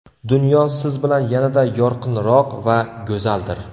Dunyo siz bilan yanada yorqinroq va go‘zaldir.